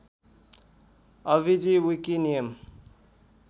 अभिजी wiki नियम